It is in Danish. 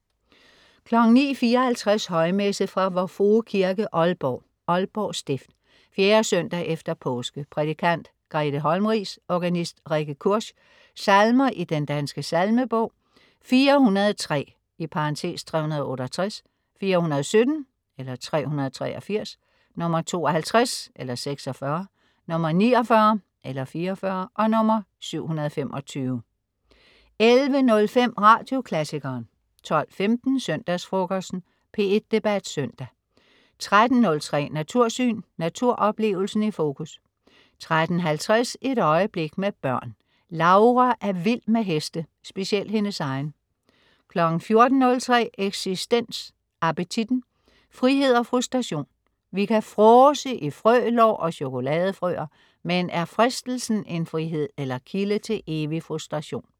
09.54 Højmesse. Vor Frue Kirke, Aalborg (Aalborg Stift). 4. søndag efter påske. Prædikant: Grethe Holmriis. Organist: Rikke Kursch. Salmer i Den Danske Salmebog: 403 (368), 417 (383) , 52 (46), 49 (44), 725 11.05 Radioklassikeren 12.15 Søndagsfrokosten. P1 Debat Søndag 13.03 Natursyn. Naturoplevelsen i fokus 13.50 Et øjeblik med børn. Laura er vild med heste. Specielt hendes egen 14.03 Eksistens. Appetitten. Frihed og frustration. Vi kan fråse i frølår og chokoladefrøer. Men er fristelsen en frihed eller kilde til evig frustration?